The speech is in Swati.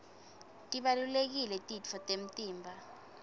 tibalulekile titfo temtimba